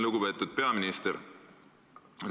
Lugupeetud peaminister!